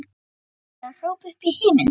skulum við hrópa upp í himininn.